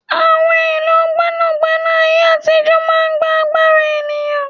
Àwọn èlò gbẹ́nàgbẹ́nà ayé àtijó máa ń gbà agbára ènìyàn